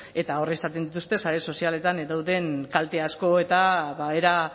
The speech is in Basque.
eta hor izaten dituzten sare sozialetan dauden kalte asko eta era